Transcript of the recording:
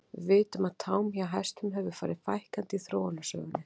Við vitum að tám hjá hestum hefur farið fækkandi í þróunarsögunni.